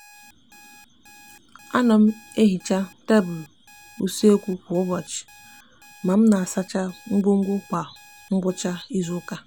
a no m ehicha tablu usekwu kwa ubochi ma m n'asacha ngwongwo kwa ngwucha izuuka